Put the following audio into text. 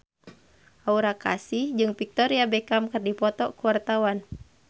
Aura Kasih jeung Victoria Beckham keur dipoto ku wartawan